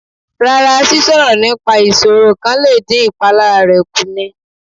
Rá́rá, sísọ̀rọ̀ nípa ìṣoro kan lè dín ìpalára rẹ̀ kù ni.